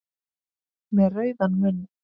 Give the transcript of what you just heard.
Með rauðan munn.